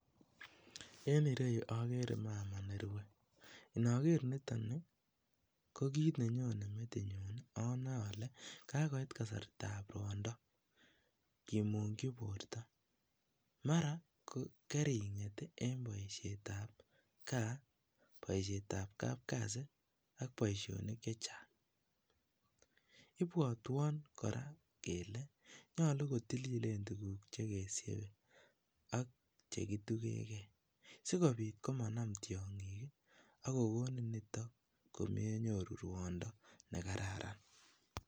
En ireyu okere mama nerue, inoker niton nii ko kiit nenyone metinyun one olee kakoit kasartab rwondo kimungyi borto, mara kering'et en boishetab kaa, boishetab kapkasi ak boishonik chechang, ibwotwon kora kelee nyolu kotililen tukuk chekesiebe ak chekitukenge sikobit komanam tiong'ik ak kokonin niton komenyoru rwondo nekararan.